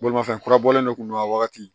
Bolimafɛn kura bɔlen kun don a wagati